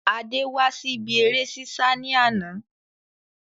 Adé wá sí ibi ère ṣíṣá ni àná